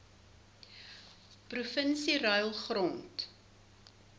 provinsie ruil grond